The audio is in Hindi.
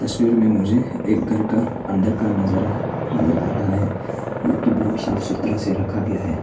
तस्वीर में मुझे एक घर का अंदर का नजर नजर आ रहा है जो की बहुत साफ सुथरा से रखा गया है।